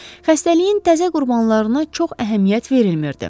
Xəstəliyin təzə qurbanlarına çox əhəmiyyət verilmirdi.